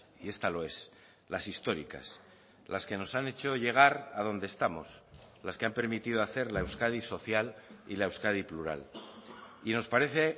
y esta lo es las históricas las que nos han hecho llegar a donde estamos las que han permitido hacer la euskadi social y la euskadi plural y nos parece